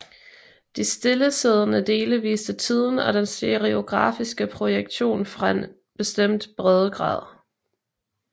De stillesiddende dele viste tiden og den stereografiske projektion fra en bestemt breddegrad